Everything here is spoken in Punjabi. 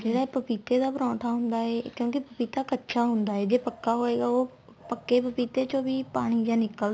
ਜਿਹੜਾ ਇਹ ਪਪੀਤੇ ਦਾ ਪਰੋਂਠਾ ਹੁੰਦਾ ਏ ਕਿਉਂਕਿ ਪਪੀਤਾ ਕੱਚਾ ਹੁੰਦਾ ਏ ਜੇ ਪੱਕਾ ਹੋਏਗਾ ਉਹ ਪੱਕੇ ਪਪੀਤੇ ਚੋ ਵੀ ਪਾਣੀ ਜਾ ਨਿਕਲਦਾ